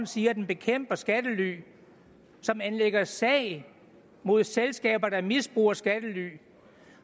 siger at den bekæmper skattely som anlægger sag mod selskaber der misbruger skattely